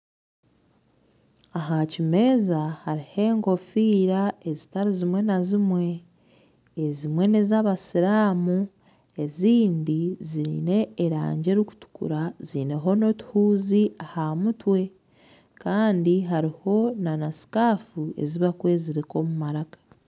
Aha kimeeza hariho enkofiira ezitari zimwe na zimwe. Ezimwe n'ez'abasiraamu, ezindi ziine erangi erikutukura ziineho n'otuhuuzi aha mutwe. Kandi hariho na sikaafu ezi barikwezirika omu maraka.